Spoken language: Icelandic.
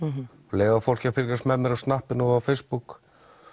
leyfa fólki að fylgjast með mér á snappinu og Facebook